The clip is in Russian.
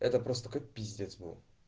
это просто такой пиздец был